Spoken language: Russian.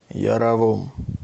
яровом